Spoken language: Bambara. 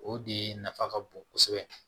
O de nafa ka bon kosɛbɛ